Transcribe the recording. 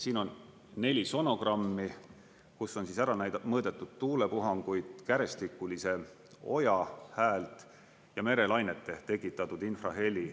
Siin on neli sonogrammi, kus on ära näidatud mõõdetud tuulepuhanguid, kärestikulise oja häält ja merelainete tekitatud infraheli.